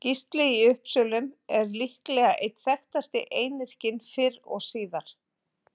Gísli í Uppsölum er líklega einn þekktasti einyrkinn fyrr og síðar.